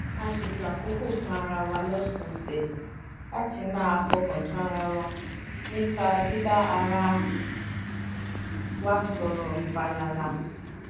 a ṣètò àkókò fún ara wa lósòòsè láti máa fọkàn tán ara wa nípa bíbá ara wa sòrò fàlàlà